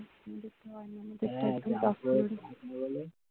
হ্যাঁ third floor হলে